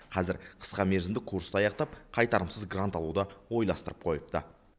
қазір қысқамерзімді курсты аяқтап қайтарымсыз грант алуды ойластырып қойыпты